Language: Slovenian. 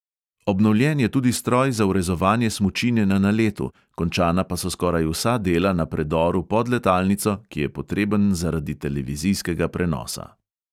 Obnovljen je tudi stroj za vrezovanje smučine na naletu, končana pa so skoraj vsa dela na predoru pod letalnico, ki je potreben zaradi televizijskega prenosa.